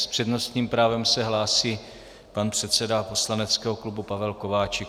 S přednostním právem se hlásí pan předseda poslaneckého klubu Pavel Kováčik.